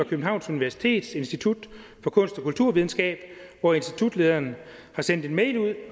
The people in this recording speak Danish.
københavns universitets institut for kunst og kulturvidenskab hvor institutlederen har sendt en mail ud